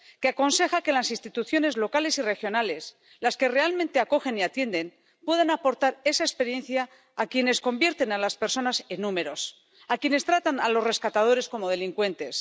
que aconseja que las instituciones locales y regionales, las que realmente acogen y atienden, puedan aportar esa experiencia a quienes convierten a las personas en números, a quienes tratan a los rescatadores como delincuentes.